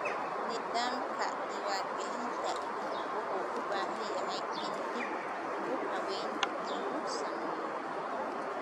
Nidaamka diiwaangelinta wuxuu u baahan yahay in dib u habeyn lagu sameeyo.